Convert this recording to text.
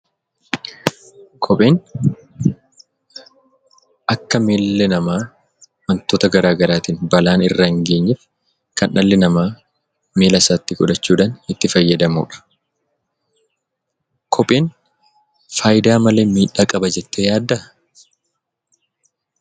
Kopheen akka miilli namaa wantoota garaa garaatiin balaan irra hin geenyeef, kan dhalli namaa miilla isaatti godhachuudhaan itti fayyadamudha. Kopheen faayidaa malee miidhaa qaba jettee yaaddaa?